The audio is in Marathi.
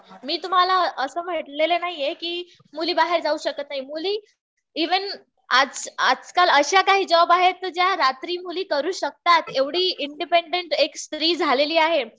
मी तुम्हाला असं म्हटलेलं नाहीये कि मुली बाहेर जाऊ शकत नाही. मुली इव्हन आज आजकाल अशा काही जॉब आहेत ज्या रात्री मुली करू शकतात. एवढी इंडिपेंडन्ट एक स्त्री झालेली आहे.